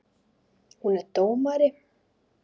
Hún er dómari.